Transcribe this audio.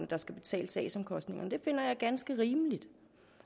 der skal betale sagsomkostningerne det finder jeg ganske rimeligt